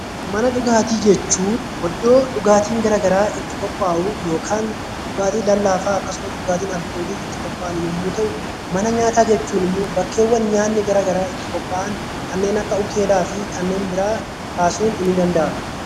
Mana dhugaatii jechuun iddoo dhugaatiiwwan gara garaa itti qophaa'u yookaan dhugaatii lallaafaa akkasumas dhugaatiin alkoolii itti qophaahu yommuu ta'u, mana nyaataa jechuun immoo bakkeewwan nyaatni garaa garaa itti qophaa'an kanneen akka hoteelaa fi kanneen biraa kaasuun ni danda'ama.